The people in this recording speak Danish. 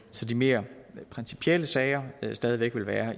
så de mere principielle sager stadig væk vil være